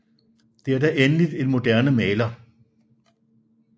Det er da endelig en moderne Maler